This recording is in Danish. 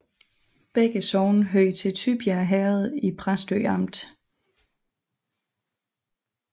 Begge sogne hørte til Tybjerg Herred i Præstø Amt